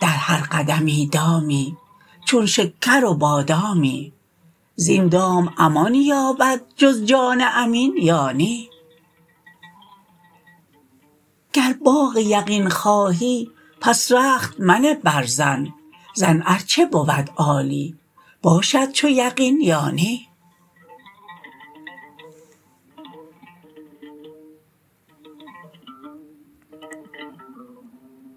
در هر قدمی دامی چون شکر و بادامی زین دام امان یابد جز جان امین یا نی گر باغ یقین خواهی پس رخت منه بر ظن ظن ار چه بود عالی باشد چو یقین یا نی